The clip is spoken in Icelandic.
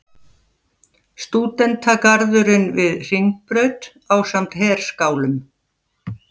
Stúdentagarðurinn við Hringbraut ásamt herskálum.